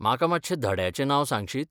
म्हाका मातशें धड्याचें नांव सांगशीत?